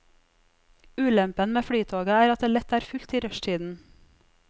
Ulempen med flytoget er at det lett er fullt i rushtiden.